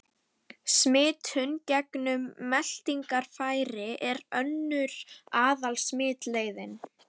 Smitun gegnum meltingarfæri er önnur aðal-smitleiðin.